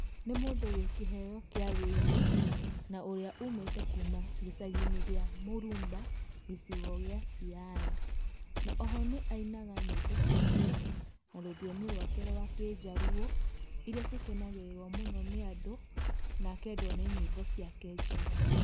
Nĩ mũndũ wĩ kĩheo kĩa wĩini, na ũrĩa ũmĩte kuma gĩcagi-inĩ kĩa Mũrumba gĩcigo gĩa Siaya. Na oho nĩainaga nyĩmbo ciake na rũthiomi rwake rwa kĩnjaruo irĩa cikenagĩrĩrwo mũno nĩ andũ, na akendwo nĩ nyĩmbo ciake njega.